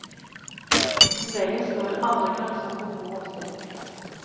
Som regel står det andre grønnsaker på bordet også.